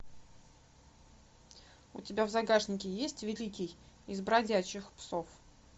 у тебя в загашнике есть великий из бродячих псов